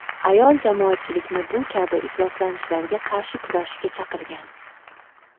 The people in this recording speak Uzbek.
Ayol jamoatchilikni bu kabi ifloslanishlarga qarshi kurashishga chaqirgan.